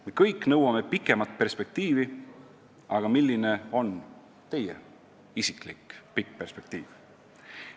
Me kõik nõuame pikemat perspektiivi, aga milline on teie isiklik pikk perspektiiv?